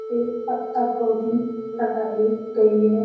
ये पत्ता गोभी लगाई गई है।